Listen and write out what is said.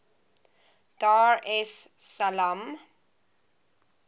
dar es salaam